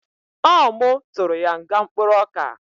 Ọ mu tụrụ ya nga mkpụrụoka